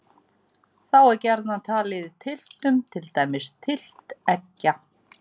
Þá er gjarnan talið í tylftum, til dæmis tylft eggja.